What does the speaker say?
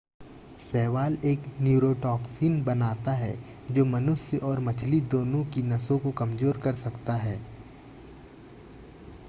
शैवाल एक न्यूरोटॉक्सिन बनाता है जो मनुष्य और मछली दोनों की नसों को कमज़ोर कर सकता है